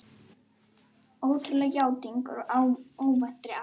Ótrúleg játning úr óvæntri átt